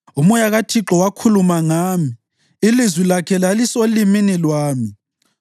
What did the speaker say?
Umoya kaThixo wakhuluma ngami, ilizwi lakhe lalisolimini lwami.